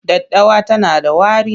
Daddawa tana da wari.,